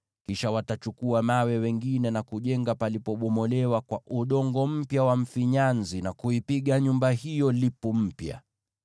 Kisha watachukua mawe mengine na kujenga palipobomolewa kwa udongo mpya wa mfinyanzi, na kuipiga nyumba hiyo lipu mpya.